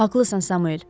Haqlısan Samuel.